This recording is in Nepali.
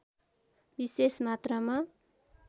विशेष मात्रामा